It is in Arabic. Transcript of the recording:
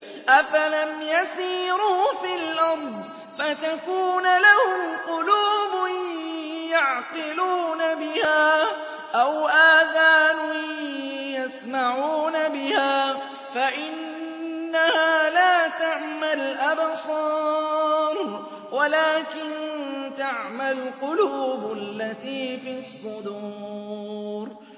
أَفَلَمْ يَسِيرُوا فِي الْأَرْضِ فَتَكُونَ لَهُمْ قُلُوبٌ يَعْقِلُونَ بِهَا أَوْ آذَانٌ يَسْمَعُونَ بِهَا ۖ فَإِنَّهَا لَا تَعْمَى الْأَبْصَارُ وَلَٰكِن تَعْمَى الْقُلُوبُ الَّتِي فِي الصُّدُورِ